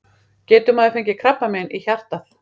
Getur maður fengið krabbamein í hjartað?